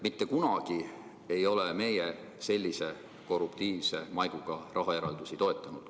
Mitte kunagi ei ole meie sellise korruptiivse maiguga rahaeraldisi toetanud.